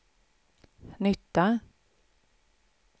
nytta